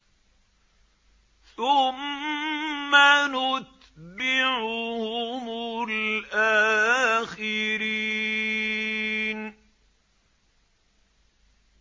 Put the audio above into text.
ثُمَّ نُتْبِعُهُمُ الْآخِرِينَ